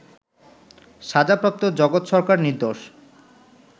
সাজাপ্রাপ্ত জগৎ সরকার নির্দোষ